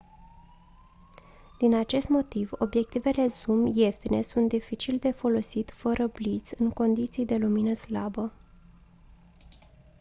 din acest motiv obiectivele zoom ieftine sunt dificil de folosit fără bliț în condiții de lumină slabă